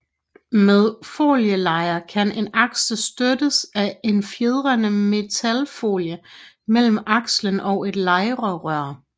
Med folielejer kan en aksel støttes af en fjedrende metalfolie mellem akslen og et lejerør